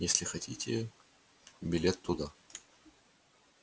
если хотите билет туда